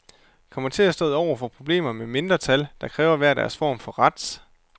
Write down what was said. Kommer til at stå over for problemer med mindretal, der kræver hver deres form for ret.